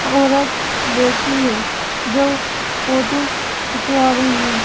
औरत बैठी है जो फोटो खिचवा रही है।